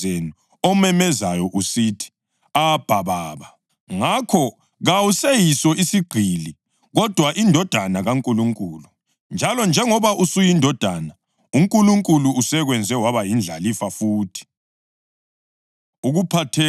Ngakho kawuseyiso isigqili kodwa indodana kaNkulunkulu; njalo njengoba usuyindodana, uNkulunkulu usekwenze waba yindlalifa futhi. Ukuphatheka KukaPhawuli NgamaGalathiya